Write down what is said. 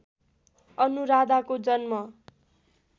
अनुराधाको जन्म